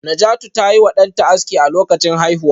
Najatu ta yi wa danta aski a lokacin haihuwa